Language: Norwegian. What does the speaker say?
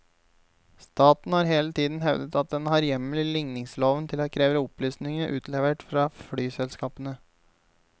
Staten har hele tiden hevdet at den har hjemmel i ligningsloven til å kreve opplysningene utlevert fra flyselskapene.